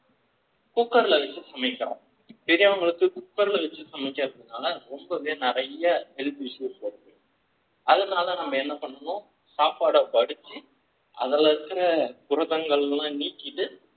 cooker விச்சு சமைக்கிறோம் பெரியவங்களுக்கு cooker ல வெச்சு சமைக்கிறதுனால ரொம்பவே நிறைய health issues வருது அதனால நம்ம என்ன பண்ணனும் சாப்பாடு வடிச்சு குரதங்களா நீக்கிட்டு